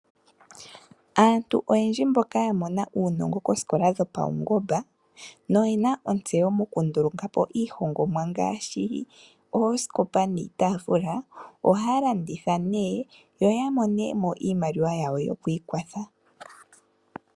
Aantu oyendji mboka ya mona uunongo koosikola dhopawungomba noye na otseyo mokunduluka iihongomwa ngaashi oosikopa niitafila, ohaya landitha ne yo ya mone mo iimaliwa yawo yokwiikwatha.